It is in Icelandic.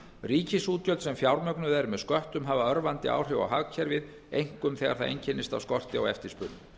ríkisútgjöld sem fjármögnuð eru með sköttum hafa örvandi áhrif á hagkerfið einkum þegar það einkennist af skorti á eftirspurn